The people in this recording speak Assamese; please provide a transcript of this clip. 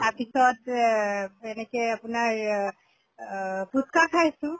তাৰ পিছত এহ এনেকে আপোনাৰ অহ পুচ্কা খাইছো